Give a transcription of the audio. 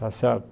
Tá certo?